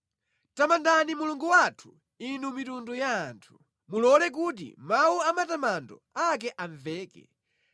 Tamandani Mulungu wathu, inu mitundu ya anthu, mulole kuti mawu a matamando ake amveke;